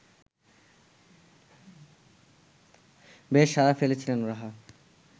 বেশ সাড়া ফেলেছিলেন রাহা